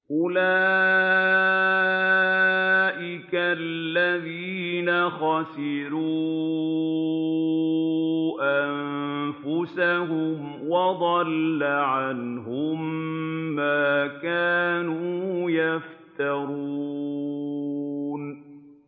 أُولَٰئِكَ الَّذِينَ خَسِرُوا أَنفُسَهُمْ وَضَلَّ عَنْهُم مَّا كَانُوا يَفْتَرُونَ